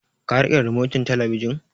Ka riƙe rimotin talabijin?